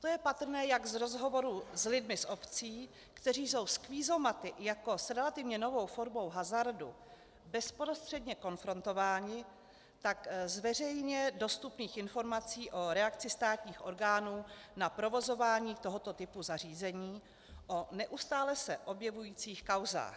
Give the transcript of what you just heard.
To je patrné jak z rozhovorů s lidmi z obcí, kteří jsou s kvízomaty jako s relativně novou formou hazardu bezprostředně konfrontováni, tak z veřejně dostupných informací o reakci státních orgánů na provozování tohoto typu zařízení, o neustále se objevujících kauzách.